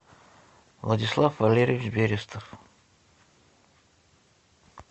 владислав валерьевич берестов